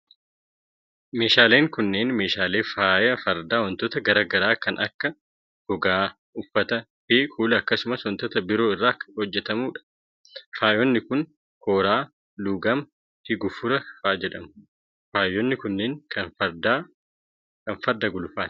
Meeshaaleen kunneen, meeshaalee faaya fardaa wantoota garaa garaa kan akka: gogaa, uffata fi kuula akkaasumas wantoota biroo irraa hojjatamuu dha. Faayonni kun: kooraa, luugama, fi gufura faa jedhamu. Faayonni kunneen, kan farda gulufaa dha.